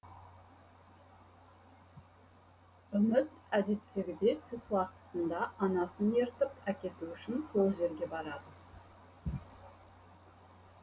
үміт әдеттегідей түс уақытында анасын ертіп әкету үшін сол жерге барады